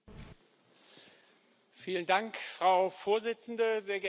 Frau Präsidentin, sehr geehrte Damen und Herren, liebe Kolleginnen und Kollegen!